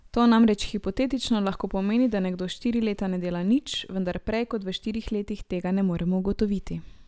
To namreč hipotetično lahko pomeni, da nekdo štiri leta ne dela nič, vendar prej kot v štirih letih tega ne moremo ugotoviti.